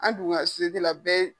An dun ka bɛɛ ye